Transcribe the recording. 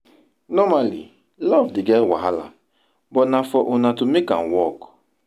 normally luv dey get wahala but na for una to mek am wok